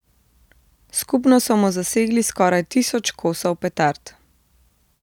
Skupno so mu zasegli skoraj tisoč kosov petard.